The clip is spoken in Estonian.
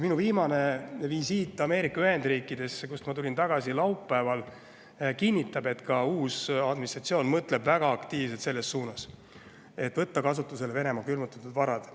Minu viimane visiit Ameerika Ühendriikidesse, kust ma tulin tagasi laupäeval, kinnitab, et ka uus administratsioon mõtleb väga aktiivselt selles suunas, et võtta kasutusele Venemaa külmutatud varad.